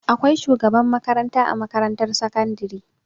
Akwai shugaban makaranta a makarantar sakandari.